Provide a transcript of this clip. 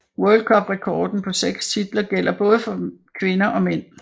World Cup rekorden på seks titler gælder for både kvinder og mænd